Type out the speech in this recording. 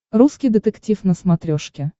русский детектив на смотрешке